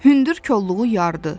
Hündür kolluğu yardı.